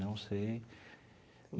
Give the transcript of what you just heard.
Não sei.